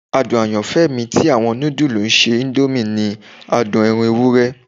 Adun ayanfẹ mi ti awọn nudulu ese indomie ni adun ẹran ewurẹ.